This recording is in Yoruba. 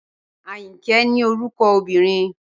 Ayinke ni oruko omobinrin